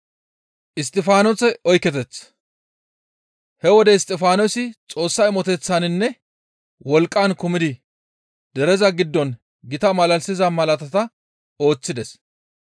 He wode Isttifaanosi Xoossa imoteththaninne wolqqan kumidi dereza giddon gita malalisiza malaatata ooththides.